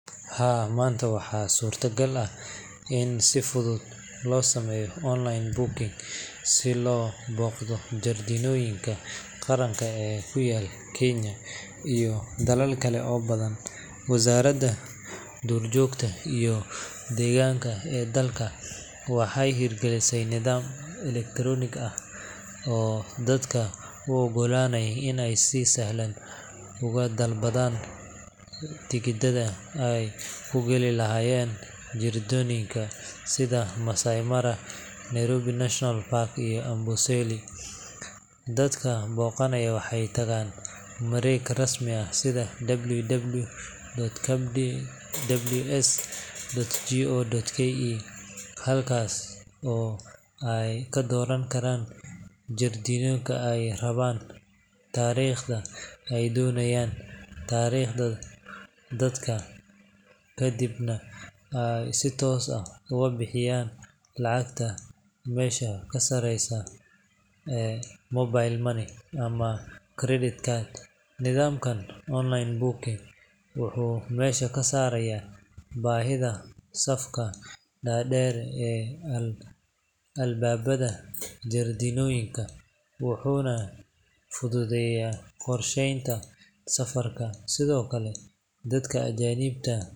Haa, maanta waxaa suurtagal ah in si fudud loo sameeyo online booking si loo booqdo jardiinooyinka qaranka ee ku yaal Kenya iyo dalal kale oo badan. Wasaaradda duurjoogta iyo deegaanka ee dalka waxay hirgelisay nidaam elektaroonig ah oo dadka u oggolaanaya in ay si sahlan uga dalbadaan tigidhada ay ku gali lahaayeen jardiinooyinka sida Maasai Mara, Nairobi National Park, iyo Amboseli. Dadka booqanaya waxay tagaan mareegta rasmiga ah sida www.kws.go.ke, halkaas oo ay ka dooran karaan jardiinka ay rabaan, taariikhda ay doonayaan, tirada dadka, kadibna ay si toos ah uga bixiyaan lacagta adigoo adeegsanaya mobile money ama credit card. Nidaamkan online booking wuxuu meesha ka saarayaa baahidii safka dhaadheer ee albaabada jardiinooyinka, wuxuuna fududeeyaa qorshaynta safarka. Sidoo kale, dadka ajaanibta ah.